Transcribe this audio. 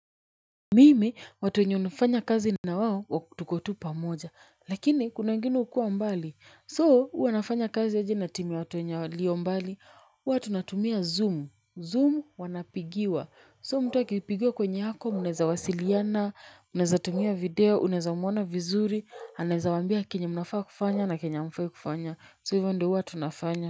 Mimi watu wenye unafanya kazi na wao tuko tu pamoja, lakini kuna wengine hukua mbali so huwa nafanya kazi aje na timu watuwenye walio mbali? Huwatu tunatumia zoom, zoom wanapigiwa so mtu akipigiwa kwenye ako mnaeza wasiliana mnaeza tumia video mnaeza muona vizuri, anaeza waambia chenye mnafaa kufanya na chenye hamfai kufanya, so hivyo ndio hwa tunafanya.